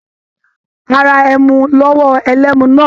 A ra ẹmu lọ́wọ́ ẹlẹ́mu náà.